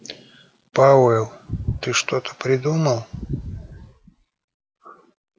пауэлл ты что-то придумал